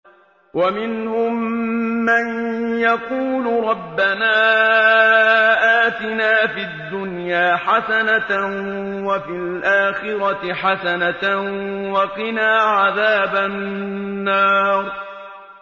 وَمِنْهُم مَّن يَقُولُ رَبَّنَا آتِنَا فِي الدُّنْيَا حَسَنَةً وَفِي الْآخِرَةِ حَسَنَةً وَقِنَا عَذَابَ النَّارِ